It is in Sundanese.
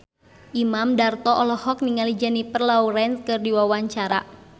Imam Darto olohok ningali Jennifer Lawrence keur diwawancara